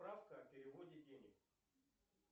справка о переводе денег